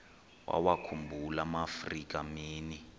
wawakhumbul amaafrika mini